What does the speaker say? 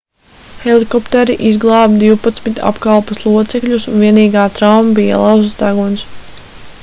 helikopteri izglāba divpadsmit apkalpes locekļus un vienīgā trauma bija lauzts deguns